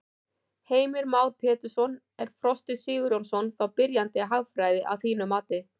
Heimir Már Pétursson: Er Frosti Sigurjónsson þá byrjandi í hagfræði að þínu mati?